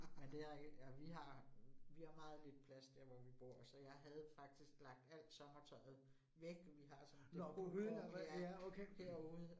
Men det rigtigt. Ja vi har vi har meget lidt plads der, hvor vi bor, så jeg havde faktisk lagt alt sommertøjet væk vi har sådan på krogen der herude